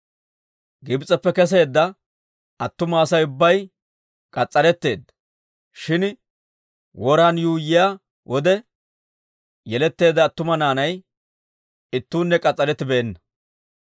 Gibs'eppe keseedda attuma Asay ubbay k'as's'aretteedda; shin woran yuuyyiyaa wode yeletteedda attuma naanay ittuunne k'as's'arettibeenna.